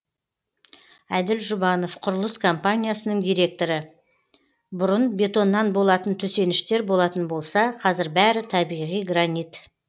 әділ жұбанов құрылыс компаниясының директоры бұрын бетоннан болатын төсеніштер болатын болса қазір бәрі табиғи гранит